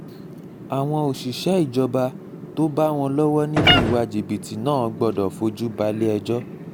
àwọn òṣìṣẹ́ ìjọba tó bá wọn lọ́wọ́ nínú ìwà jìbìtì náà gbọdọ̀ fojú balẹ̀-ẹjọ́